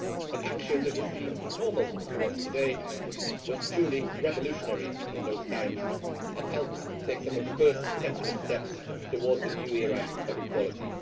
An action that would seem normal to us today was truly revolutionary in those times and helped take some of the first tentative steps towards a new era of equality.